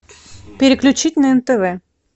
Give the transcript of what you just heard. переключить на нтв